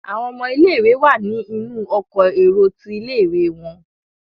àwọn ọmọ ilé ìwé wá ní inú Ọkọ̀ èrò tí ilé-ìwé wón.